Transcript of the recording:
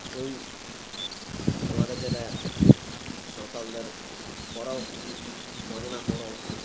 ঐ আমাদের যেটা সাঁওতালদের পরাও হয় বাঁধনা পরাও